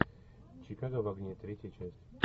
чикаго в огне третья часть